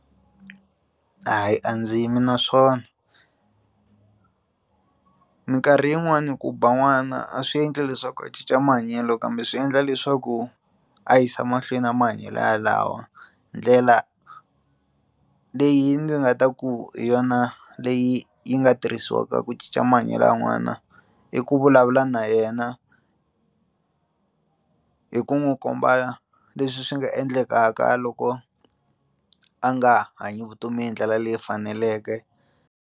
Hayi a ndzi yimi na swona minkarhi yin'wani ku ba n'wana a swi endli leswaku a cinca mahanyelo kambe swi endla leswaku a yisa mahlweni a mahanyelo ya lawo ndlela leyi ndzi nga ta ku hi yona leyi yi nga tirhisiwaka ku cinca mahanyelo ya n'wana i ku vulavula na yena hi ku n'wi komba leswi swi nga endlekaka loko a nga hanyi vutomi hi ndlela leyi faneleke.